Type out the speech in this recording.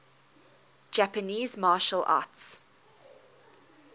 japanese martial arts